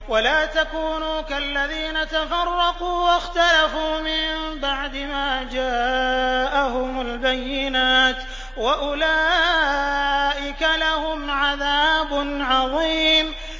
وَلَا تَكُونُوا كَالَّذِينَ تَفَرَّقُوا وَاخْتَلَفُوا مِن بَعْدِ مَا جَاءَهُمُ الْبَيِّنَاتُ ۚ وَأُولَٰئِكَ لَهُمْ عَذَابٌ عَظِيمٌ